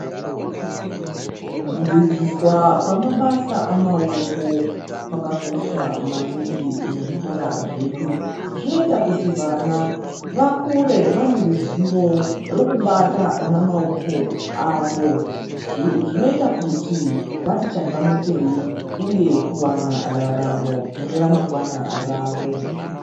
Kudzidziswa kwemabasa amaoko kwakakosha maningi muzvikora zvedu zvinoita kuti vana vakure vane ruzivo rekubata namaoko avo zvinoita kuti vati changamukei uye kuwana raramo mune ramangwana ravo.